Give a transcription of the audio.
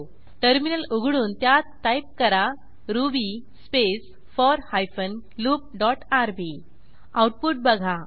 terminal उघडून त्यात type करा ruby space four hyphen loop dot RB output बघा